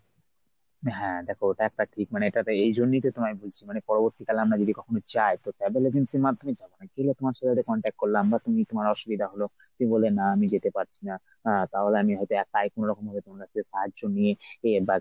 হ্যাঁ দেখ ওটা একটাঠিক মানে এটাতে এইজন্যই তো তোমায় বলছি মানে পরবর্তিকালে আমরা যদি কখনো যাই তো travel agencyর মাধ্যমে যাব না। গেলে তোমার সাথে একটা contact করলাম আমরা, তুমি তোমার অসুবিধা হল, তুমি বললে না আমি যেতে পারছি না। তাহলে হয়ত আমি একাই কোনো রকমভাবে কোনো একটা সাহায্য নিয়ে friend বা